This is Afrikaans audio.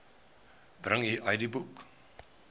bring u idboek